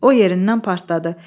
O yerindən partladı.